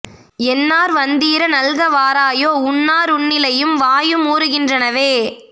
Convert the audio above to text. என்னார் வந்தீர நல்க வாராயோ உன்னா ருண்ணிலையும் வாயு மூறு கின்றனவே